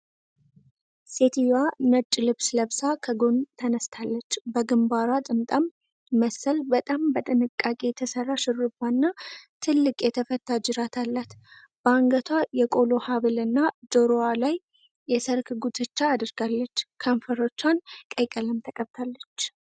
ሴትየዋ ነጭ ልብስ ለብሳ ከጎን ተነስታለች፤ በግምባሯ ጥምጣም መሰል በጣም በጥንቃቄ የተሰራ ሽሩባና ትልቅ የተፈታ ጅራት አላት። በአንገቷ የቆሎ ሐብልና ጆሮዋ ላይ የሠርግ ጉትቻ አድርጋለች፤ ከንፈሮቿን ቀይ ቀለም ቀብታለች።